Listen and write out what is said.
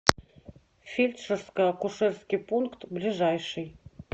фельдшерско акушерский пункт ближайший